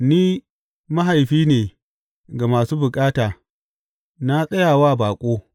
Ni mahaifi ne ga masu bukata; na tsaya wa baƙo.